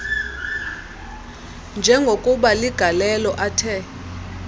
njengokuba ligalelo athe